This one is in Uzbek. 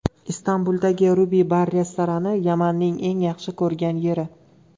Istanbuldagi Ruby bar-restorani Yamanning eng yaxshi ko‘rgan yeri.